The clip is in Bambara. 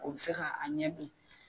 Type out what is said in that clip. O bɛ se ka a ɲɛ bi